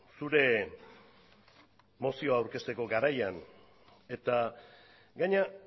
zure mozioa aurkezteko garaian eta gainera